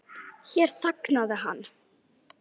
Hér þagnaði hann.